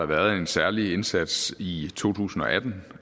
været en særlig indsats i to tusind og atten